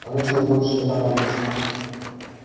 она тебе больше не понадобится